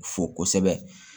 Fo kosɛbɛ